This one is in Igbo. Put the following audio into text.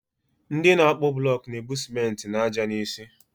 Nde na akpu blok na-ebu simenti na ájá n'isi.